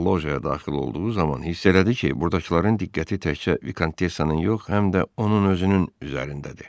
Loja daxil olduğu zaman hiss elədi ki, burdakıların diqqəti təkcə Vikontessanın yox, həm də onun özünün üzərindədir.